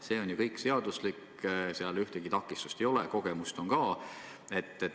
See on ju kõik seaduslik, seal ühtegi takistust ei ole, kogemust on samuti.